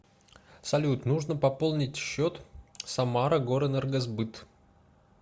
салют нужно пополнить счет самара горэнергосбыт